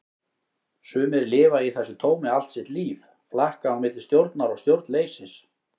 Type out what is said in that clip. Sumir lifa í þessu tómi allt sitt líf, flakka á milli stjórnar og stjórnleysis.